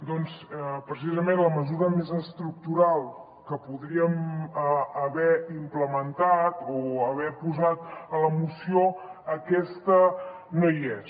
doncs precisament la mesura més estructural que podríem haver implementat o haver posat a la moció aquesta no hi és